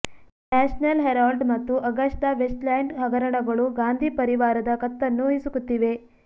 national Herald ಮತ್ತು Augusta Westland ಹಗರಣಗಳು ಗಾಂಧಿ ಪರಿವಾರದ ಕತ್ತನ್ನು ಹಿಸುಕುತ್ತಿವೆ